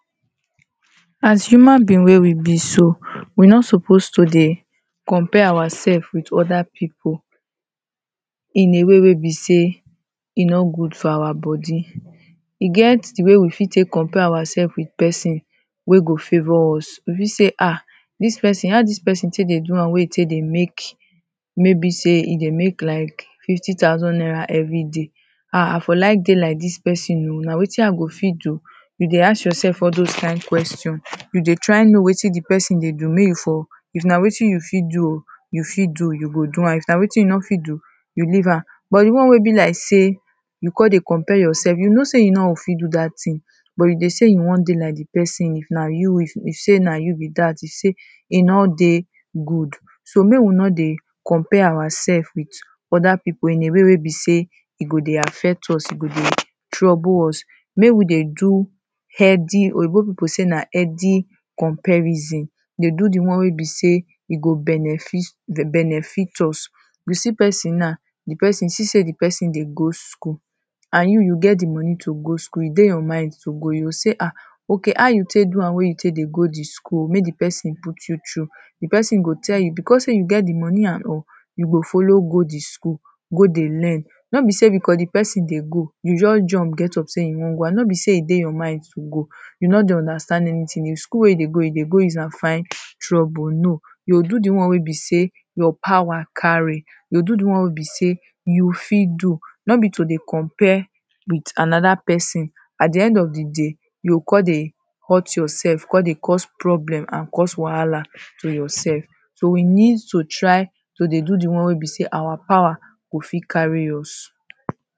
As human being wey we be so, we no suppose to dey compare ourselves with other people in a way wey be sey e no good for our body. E get the way we fit take compare ourselves with person wey go favour us. We fit say ha! dis person, how dis person take dey do am? wey e take dey make maybe sey e dey make like fifty thousand naira everyday. Ha! i for like dey like dis person oh. Na wetin i go fit do? You dey ask yourself all dos kind question. You dey try know wetin the person dey do mey you for, if na wetin you fit do oh. You fit do, you go do am. If na wetin you no fit do, you leave am. But the one wey be like sey you con dey compare yourself. You know sey you no go fit do dat thing but you dey sey you wan dey like the person. Na you [2] you say na you be dat. You say e no dey good. So mey we no dey compare ourselves with other people in a way wey be sey, e go dey affect us. E go dey trouble us. Make we dey do healthy, Oyinbo people say na healthy comparism. They do the one wey be sey e go benefit, dey benefit us. We see person now, the person see sey the person dey go school. And you, you get the money to go school. E dey your mind to go. You go sey ha! okay how you take do am wey you take dey go the school. Make the person put you through. The person go tell you because sey you get the money and all, you go follow go the school. Go dey learn. No be sey the person because the person dey go, you just jump, get up sey you wan go and no be sey e dey your mind to go. You no dey understand anything. The school wey you dey go, you dey go use am find trouble, No. You go do the one wey be sey your power carry. You go do the one wey be sey you fit do. No be to dey compare with another person. At the end of the day, you go con dey hurt yourself. Con dey cause problem and cause wahala to yourself. So we need to try to dey do the one wey be sey our power go fit carry us.